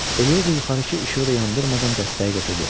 Elioza yuxarıki işığı da yandırmadan dəstəyi götürdü.